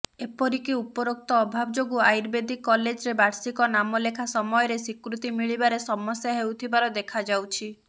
ଏପରିକି ଉପରୋକ୍ତ ଅଭାବ ଯୋଗୁଁ ଆର୍ୟୁବେଦିକ କଲେଜରେ ବାର୍ଷିକ ନାମଲେଖା ସମୟରେ ସ୍ୱୀକୃତି ମିଳିବାରେ ସମସ୍ୟା ହେଉଥିବାର ଦେଖାଯାଉଛି